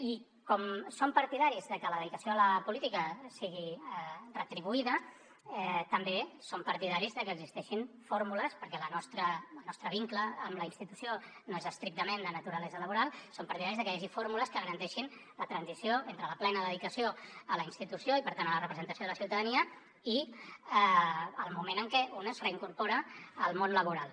i com que som partidaris que la dedicació a la política sigui retribuïda també som partidaris de que existeixin fórmules perquè el nostre vincle amb la institució no és estrictament de naturalesa laboral que garanteixin la transició entre la plena dedicació a la institució i per tant a la representació de la ciutadania i el moment en què un es reincorpora al món laboral